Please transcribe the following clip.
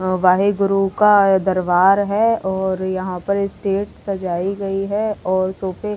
वाहेगुरु का दरबार है और यहाँ पर स्टेज सजाई गई है और सोफे --